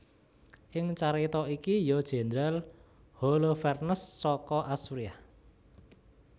Ing carita iki ya jendral Holofernes saka Asuriah